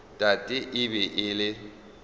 tate e be e le